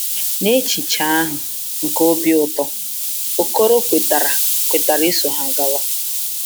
Na echiche ahụ nke obi ụtọ, Okoro kwetara kwetara iso ha gawa.